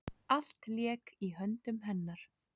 Allt lék í höndum hennar.